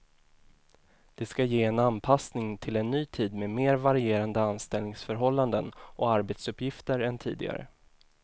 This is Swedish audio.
Det ska ge en anpassning till en ny tid med mer varierande anställningsförhållanden och arbetsuppgifter än tidigare.